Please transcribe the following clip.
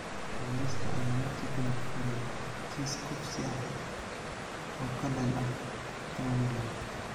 Booliiska ayaa markii dambe furay kiis kufsi ah oo ka dhan ah Trindade.